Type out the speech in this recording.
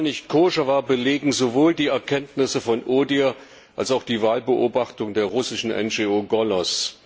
Dass diese Wahl nicht koscher war, belegen sowohl die Erkenntnisse von ODIHR als auch die Wahlbeobachtung der russischen NGO Golos.